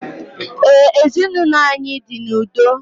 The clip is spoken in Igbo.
Ee, ezinaụlọ anyị dị n'udo